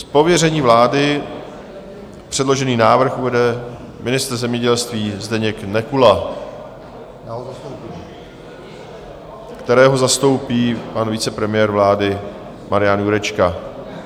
Z pověření vlády předložený návrh uvede ministr zemědělství Zdeněk Nekula, kterého zastoupí pan vicepremiér vlády Marian Jurečka.